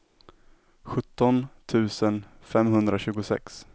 sjutton tusen femhundratjugosex